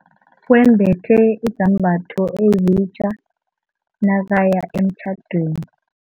Wembethe izambatho ezitja nakaya emtjhadweni.